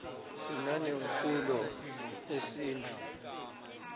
sinane mkulo yesimtfu